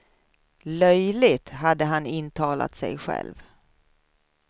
Löjligt, hade han intalat sig själv.